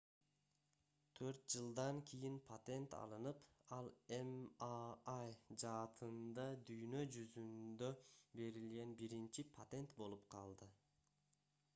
4 жылдан кийин патент алынып ал mri жаатында дүйнө жүзүндө берилген биринчи патент болуп калды